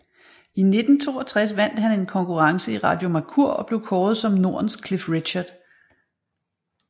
I 1962 vandt han en konkurrence i Radio Mercur og blev kåret som Nordens Cliff Richard